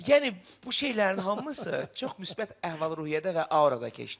Yəni bu şeylərin hamısı çox müsbət əhval-ruhiyyədə və aurada keçdi.